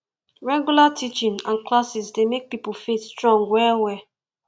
regular teaching and classes dey make pipo faith strong well well